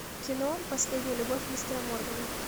кино последняя любовь мистера моргана